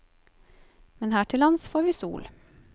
Men her til lands får vi sol.